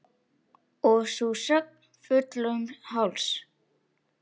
Og sú söng, fullum hálsi!